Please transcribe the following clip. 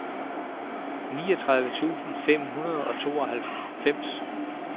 niogtredive tusind fem hundrede og tooghalvfjerds